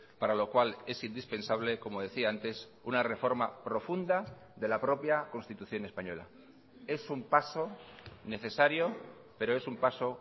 para lo cual es indispensable como decía antes una reforma profunda de la propia constitución española es un paso necesario pero es un paso